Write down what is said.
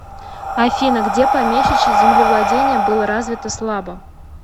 афина где помещичье землевладение было развито слабо